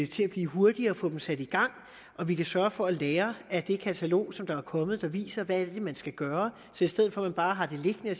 til at blive hurtigere og få dem sat i gang og vi kan sørge for at lære af det katalog som er kommet og som viser hvad det er man skal gøre så i stedet for at man bare har det liggende og